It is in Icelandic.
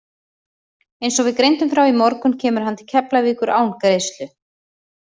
Eins og við greindum frá í morgun kemur hann til Keflavíkur án greiðslu.